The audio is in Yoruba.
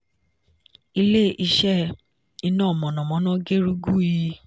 agbara: ẹ̀ẹ́dẹ́gbẹ̀ta-ó-lé-mẹ́fà àti díẹ̀ megawatt (506. 1 mw) (iso) ati irinwó-ó-lé-mẹ́rìnlélọ́gbọ̀n megawatt (434mw) (net)